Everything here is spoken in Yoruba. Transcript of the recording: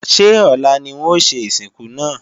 Ṣé ọ̀la ni wọn ó ṣe ìsìnkú náà?